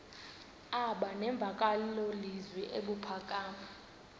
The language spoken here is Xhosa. aba nemvakalozwi ebuphakama